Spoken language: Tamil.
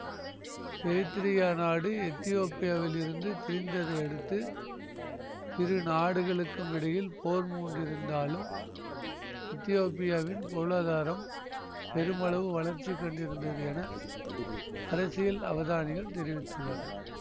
எரித்திரியா நாடு எத்தியோப்பியாவில் இருந்து பிரிந்ததை அடுத்து இரு நாடுகளுக்கும் இடையில் போர் மூண்டிருந்தாலும் எத்தியோப்பியாவின் பொருளாதாரம் பெருமளவு வளர்ச்சி கண்டிருந்தது என அரசியல் அவதானிகள் தெரிவித்துள்ளனர்